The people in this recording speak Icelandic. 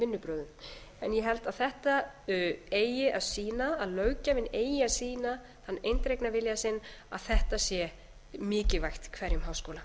en ég held að þetta eigi að sýna að löggjafinn eigi að sýna þann eindregna vilja sinn að þetta sé mikilvægt hverjum háskóla